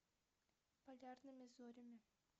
полярными зорями